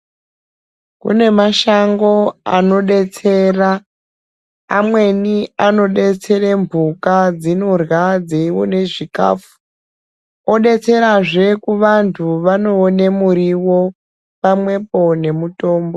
Kune mashango anodetsera amweni anodetsera mbuka dzinorya dzeiona zvikafu odetserazve kuvantu vanoone muriwo pamwepo nemutombo.